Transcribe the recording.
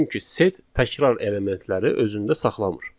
Çünki set təkrar elementləri özündə saxlamır.